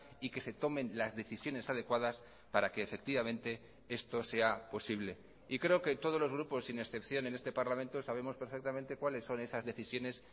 y que se tomen las decisiones adecuadas para que efectivamente esto sea posible y creo que todos los grupos sin excepción en este parlamento sabemos perfectamente cuáles son esas decisiones